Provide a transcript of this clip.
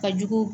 Ka jugu